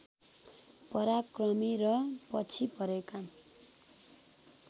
पराक्रमी र पछि परेका